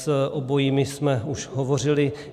S obojími jsme už hovořili.